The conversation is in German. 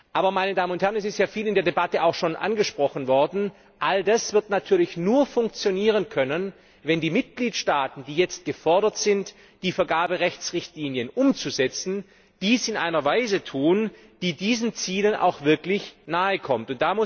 Aber, meine Damen und Herren es ist in der Debatte schon vieles angesprochen worden all das wird natürlich nur funktionieren können, wenn die Mitgliedstaaten, die jetzt gefordert sind, die Vergaberechtsrichtlinien umzusetzen, dies in einer Weise tun, die diesen Zielen auch wirklich nahekommt.